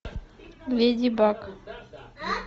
леди баг